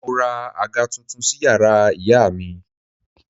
Mo ra àga tuntun sí yàrá ìyá mi